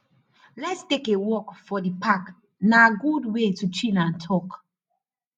lets take a walk for the park na good way to chill and talk